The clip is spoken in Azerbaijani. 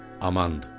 Amandır.